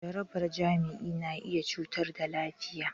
Jaraban jima'i na iya cutar da lafiya.